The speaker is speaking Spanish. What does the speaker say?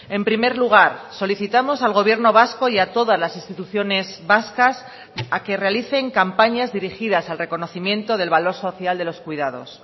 en primer lugar solicitamos al gobierno vasco y a todas las instituciones vascas a que realicen campañas dirigidas al reconocimiento del valor social de los cuidados